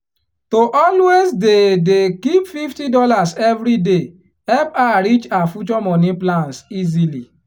to always dey dey keep fifty dollars every day help her reach her future money plans easily